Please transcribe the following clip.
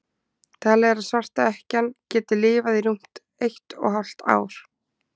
talið er að svarta ekkjan geti lifað í rúmt eitt og hálft ár